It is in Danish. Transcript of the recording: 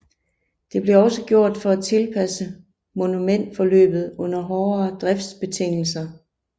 Det blev også gjort for at tilpasse momentforløbet under hårdere driftsbetingelser